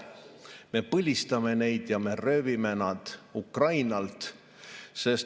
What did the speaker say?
Me põlistame neid, me röövime nad Ukrainalt.